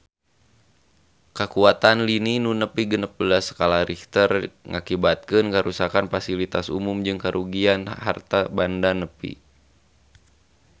Kakuatan lini nu nepi genep belas skala Richter ngakibatkeun karuksakan pasilitas umum jeung karugian harta banda nepi ka 1 triliun rupiah